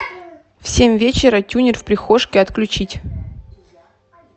в семь вечера тюнер в прихожке отключить